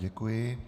Děkuji.